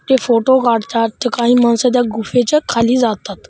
ते फोटो काढतात ते काही माणसं त्या गुफेच्या खाली जातात.